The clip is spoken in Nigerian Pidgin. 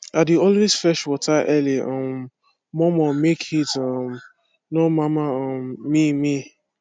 i dey always fetch water early um mor mor make heat um nor mama um me me